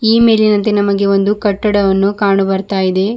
ಈ ಮೇಲಿನಂತೆ ನಮಗೆ ಒಂದು ಕಟ್ಟಡವನ್ನು ಕಾಣು ಬರ್ತಾ ಇದೆ.